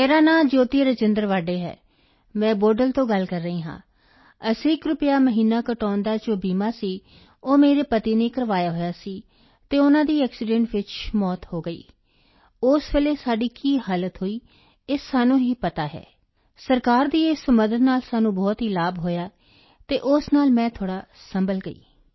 ਮੇਰਾ ਨਾਂ ਜੋਤੀ ਰਾਜੇਂਦਰ ਵਾਡੇ ਹੈ ਮੈਂ ਬੋਡਲ ਤੋਂ ਗੱਲ ਕਰ ਰਹੀ ਹਾਂ ਅਸੀਂ ਇੱਕ ਰੁਪਿਆ ਮਹੀਨਾ ਕਟਾਉਣ ਦਾ ਜੋ ਬੀਮਾ ਸੀ ਉਹ ਮੇਰੇ ਪਤੀ ਨੇ ਕਰਵਾਇਆ ਹੋਇਆ ਸੀ ਅਤੇ ਉਨ੍ਹਾਂ ਦੀ ਐਕਸੀਡੈਂਟ ਚ ਮੌਤ ਹੋ ਗਈ ਉਸ ਵੇਲੇ ਸਾਡੀ ਕੀ ਹਾਲਤ ਹੋਈ ਇਹ ਸਾਨੂੰ ਹੀ ਪਤਾ ਹੈ ਸਰਕਾਰ ਦੀ ਇਸ ਮਦਦ ਨਾਲ ਸਾਨੂੰ ਬਹੁਤ ਲਾਭ ਹੋਇਆ ਅਤੇ ਉਸ ਨਾਲ ਮੈਂ ਥੋੜ੍ਹਾ ਸੰਭਲ ਗਈ